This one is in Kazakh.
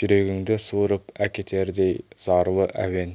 жүрегіңді суырып әкетердей зарлы әуен